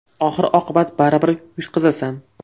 Oxir-oqibat baribir yutqazasan.